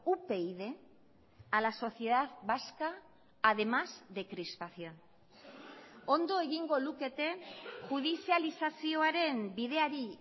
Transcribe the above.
upyd a la sociedad vasca además de crispación ondo egingo lukete judizializazioaren bideari